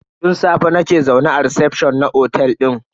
Tun safe nake zaune a recefshon na otel din.